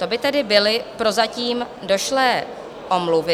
To by tedy byly prozatím došlé omluvy.